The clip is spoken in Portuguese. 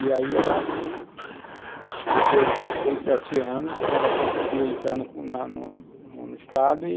E aí ela, depois de uns seis, sete anos, ela conseguiu entrar na no Estado e